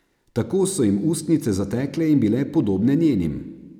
Tako so jim ustnice zatekle in bile podobne njenim.